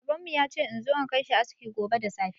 Baban mu ya ce in zo in kai shi aski gobe da safe.